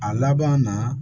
A laban na